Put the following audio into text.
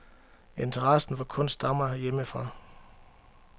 Interessen for kunst stammer hjemmefra.